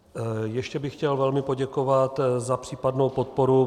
Ještě bych chtěl velmi poděkovat za případnou podporu.